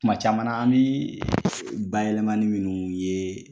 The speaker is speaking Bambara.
Tuma caman na , an bɛ bayɛlɛmani minnu ye